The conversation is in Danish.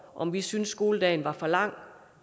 om vi syntes skoledagen var for lang